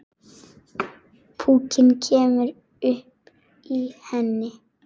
Púkinn kemur upp í henni.